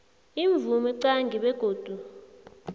imvumo qange begodu